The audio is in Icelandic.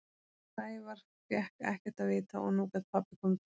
Sævar fékk ekkert að vita og nú gat pabbi komið til mín.